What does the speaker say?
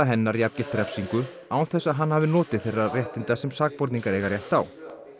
hennar jafngilt refsingu án þess að hann hafi notið nokkurra þeirra réttinda sem sakborningar eiga rétt á